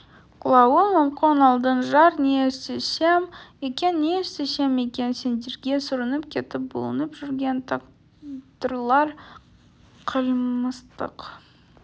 құлауың мүмкін алдың-жар не істесем екен не істесем екен сендерге сүрініп кетіп бүлініп жүрген тағдырлар қылмыстық